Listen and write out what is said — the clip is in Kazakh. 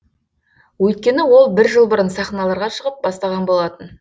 өйткені ол бір жыл бұрын сахналарға шығып бастаған болатын